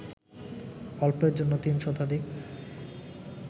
অল্পের জন্য ৩ শতাধিক